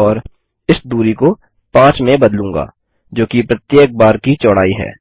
और इस दूरी को 5 में बदलूँगा जोकि प्रत्येक बार की चौड़ाई है